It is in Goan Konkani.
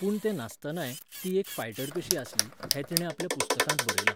पूण तें नासतनाय, ती एक फायटर कशी आसली, हें तिणें आपल्या पुस्तकांत बरयलां.